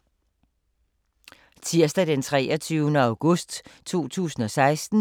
Tirsdag d. 23. august 2016